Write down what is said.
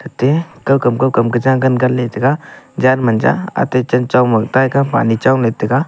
ate kawkam-kawkam ke jagan ganley chega janmanja ate chenchong ma taika Pani chowley taiga.